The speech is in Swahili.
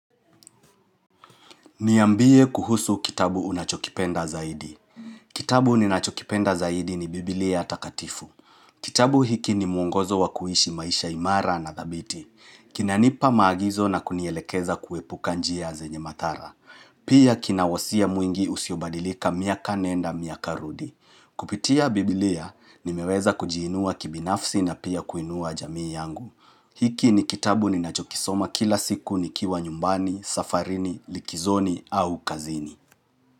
Niambie kuhusu kitabu unachokipenda zaidi. Kitabu ninachokipenda zaidi ni Biblia takatifu. Kitabu hiki ni mwongozo wa kuishi maisha imara na thabiti. Kina nipa maagizo na kunielekeza kuepuka njia zenye mathara. Pia kina wasia mwingi usiobadilika miaka nenda miaka rudi. Kupitia Biblia ni meweza kujiinua kibinafsi na pia kuinua jamii yangu hiki ni kitabu ni nachokisoma kila siku ni kiwa nyumbani, safarini, likizoni au kazini.